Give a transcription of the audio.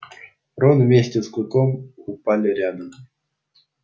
рон вместе с клыком упали рядом